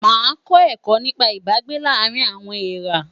Màá kọ́ ẹ̀kọ́ nípa Ìbágbé láàárín àwọn èèrá.